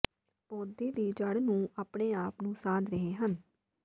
ਪੌਦੇ ਦੀ ਜੜ੍ਹ ਨੂੰ ਆਪਣੇ ਆਪ ਨੂੰ ਸਾਧ ਰਹੇ ਹਨ